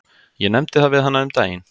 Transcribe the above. Ég nefndi það við hana um daginn.